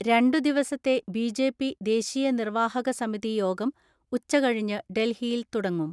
രണ്ടുദിവസത്തെ ബി.ജെ.പി ദേശീയ നിർവ്വാഹക സമിതി യോഗം ഉച്ചകഴിഞ്ഞ് ഡൽഹിയിൽ തുടങ്ങും.